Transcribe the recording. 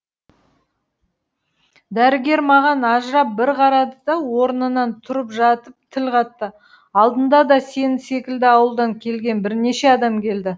дәрігер маған ажырап бір қарады да орнынан тұрып жатып тіл қатты алдында да сен секілді ауылдан келген бірнеше адам келді